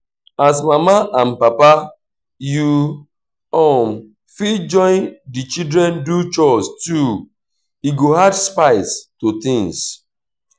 as mama and papa you um fit join di children do chores too e go add spice to things